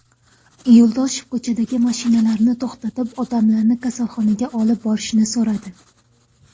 Yo‘ldoshev ko‘chadagi mashinalarni to‘xtatib, odamlarni kasalxonaga olib borishni so‘radi.